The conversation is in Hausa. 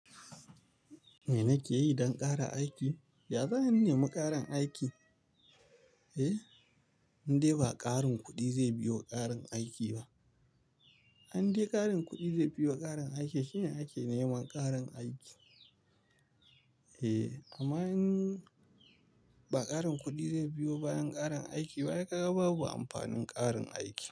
Me nake yi don ƙara aiki? Ya za'ayi in nemi ƙarin aiki? Eh, in dai ba ƙarin kuɗi zai biyo ƙarin aiki ba. In dai ƙarin kuɗi zai biyo ƙarin aiki shine ake neman ƙarin aiki. Eh, amma in ba ƙarin kuɗi zai biyo bayan ƙarin aikiba, ai ka ga babu amfanin ƙarin aiki.